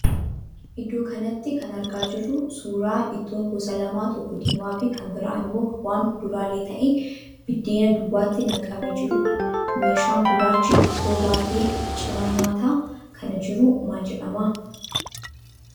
Iddoo kanatti kan argaa jirru suuraa ittoon gosa lama tokko diimaa fi kan biraan immoo waan kuduraalee ta'e biddeena duwwaatti naqamee jiruudha. Meeshaan gurraachi ittoo baatee cina nyaata kanaa jiru maal jedhama?